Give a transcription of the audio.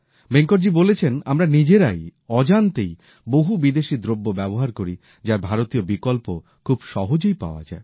ভেঙ্কটজী বলেছেন আমরা নিজেদের অজান্তেই বহু বিদেশী দ্রব্য ব্যবহার করি যার ভারতীয় বিকল্প খুব সহজেই পাওয়া যায়